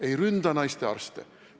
Ei ründa naistearste!